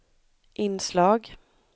inslag